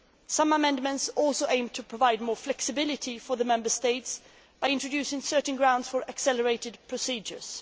Some amendments also aim to provide more flexibility for the Member States by introducing certain grounds for accelerated procedures.